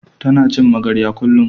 Ta na cin magarya kullun